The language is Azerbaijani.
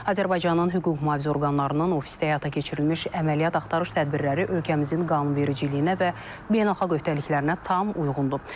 Azərbaycanın hüquq-mühafizə orqanlarının ofisdə həyata keçirilmiş əməliyyat-axtarış tədbirləri ölkəmizin qanunvericiliyinə və beynəlxalq öhdəliklərinə tam uyğundur.